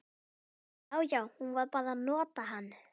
Já, já, hún var bara að nota hann.